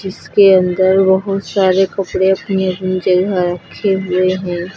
इसके अंदर बहुत सारे कपड़े अपनी अपनी जगह रखे हुए हैं।